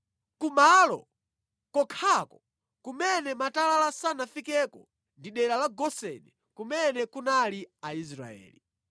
Ku malo kokhako kumene matalala sanafikeko ndi dera la Goseni kumene kunali Aisraeli.